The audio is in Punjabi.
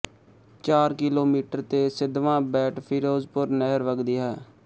ਚਾਰ ਕਿਲੋਮੀਟਰ ਤੇ ਸਿੱਧਵਾਂ ਬੇਟਫ਼ਿਰੋਜ਼ਪੁਰ ਨਹਿਰ ਵਗਦੀ ਹੈ